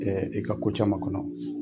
i ka ko caman kɔnɔ.